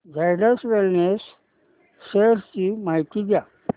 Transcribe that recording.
Zydus wellness shares ची माहिती द्या